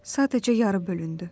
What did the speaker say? Sadəcə yarı bölündü.